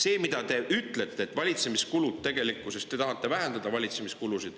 Te ütlete, et need on valitsemiskulud, et te tahate vähendada valitsemiskulusid.